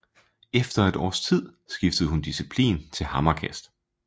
Efter et års tid skiftede hun disciplin til hammerkast